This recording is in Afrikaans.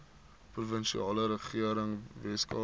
provinsiale regering weskaap